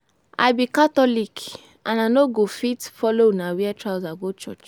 I be catholic and I no go fit follow una wear trouser go church